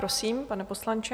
Prosím, pane poslanče.